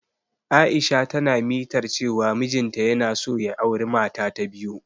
Aisha na ta mitar cewa mijin ta yana so ya auri mata ta biyu.